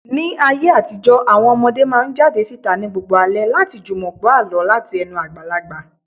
Ní ayé àtijó, àwọn ọmọdé máa ń jáde síta ní gbogbo alẹ́ láti jùmọ̀ gbọ́ àlọ́ láti ẹnu àgbàlagbà.